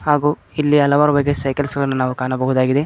ಹಾಗೂ ಇಲ್ಲಿ ಹಲವಾರು ಬಗೆಯ ಸೈಕಲ್ಸ್ಗ ಳನ್ನು ಕಾಣಬಹುದಾಗಿದೆ.